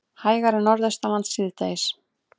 Hægari Norðaustanlands síðdegis